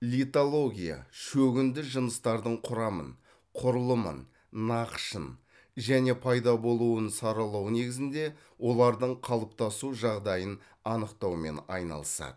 литология шөгінді жыныстардың құрамын құрылымын нақышын және пайда болуын саралау негізінде олардың қалыптасу жағдайын анықтаумен айналысады